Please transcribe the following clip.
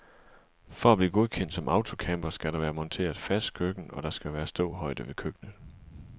For at blive godkendt som autocamper skal der være monteret fast køkken, og der skal være ståhøjde ved køkkenet.